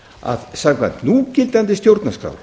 að samkvæmt núgildandi stjórnarskrá